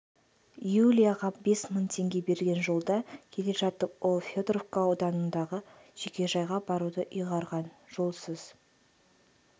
юлияға бес мың теңге берген жолда келе жатып ол федоровка ауданындағы жекежайға баруды ұйғарған жолсыз